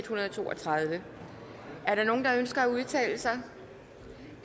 hundrede og to og tredive er der nogen der ønsker at udtale sig